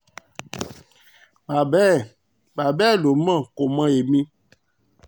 baba ẹ̀ baba ẹ̀ ló mọ̀ kò mọ ẹ̀mí